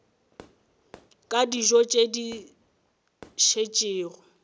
ka dijo tše di šetšego